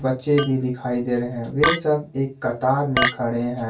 बच्चे भी दिखाई दे रहे हैं वे सब एक कतार में खड़े हैं।